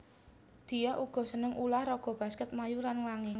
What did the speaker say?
Diah uga seneng ulah raga baskèt mlayu lan nglangi